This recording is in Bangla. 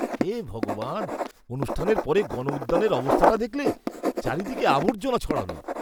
হে ভগবান, অনুষ্ঠানের পরে গণউদ্যানের অবস্থাটা দেখলে? চারিদিকে আবর্জনা ছড়ানো।